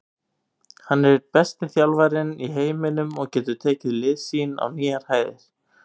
Hann er einn besti þjálfarinn í heiminum og getur tekið lið sín á nýjar hæðir.